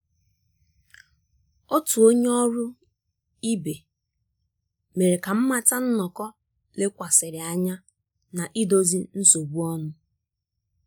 Otu onye ọrụ ibe mere ka m mata nnọkọ lekwasịrị anya na idozi nsogbu ọnụ